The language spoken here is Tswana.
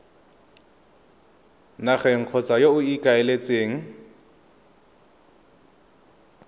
nageng kgotsa yo o ikaeletseng